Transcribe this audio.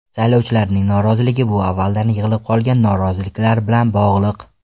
Saylovchilarning noroziligi bu avvaldan yig‘ilib qolgan noroziliklar bilan bog‘liq.